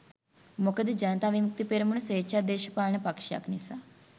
මොකද ජනතා විමුක්ති පෙරමුණ ස්වේච්ඡා දේශපාලන පක්ෂයක් නිසා.